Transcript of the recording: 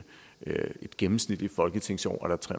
gennemsnitligt folketingsår er der tre